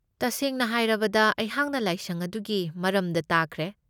ꯇꯁꯦꯡꯅ ꯍꯥꯏꯔꯕꯗ ꯑꯩꯍꯥꯛꯅ ꯂꯥꯏꯁꯪ ꯑꯗꯨꯒꯤ ꯃꯔꯝꯗ ꯇꯥꯈꯔꯦ꯫